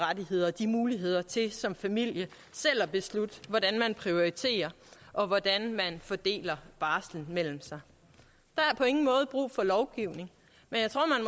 rettigheder og de muligheder til som familie selv at beslutte hvordan man prioriterer og hvordan man fordeler barslen mellem sig der er på ingen måde brug for lovgivning